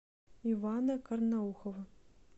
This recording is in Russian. ивана карнаухова